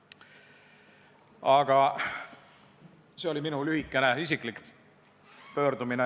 Aga see oli minu lühike isiklik pöördumine.